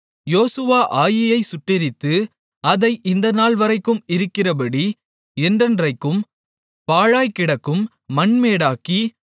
யோசுவா ஆயீயைச் சுட்டெரித்து அதை இந்த நாள்வரைக்கும் இருக்கிறபடி என்றைக்கும் பாழாய்க்கிடக்கும் மண்மேடாக்கி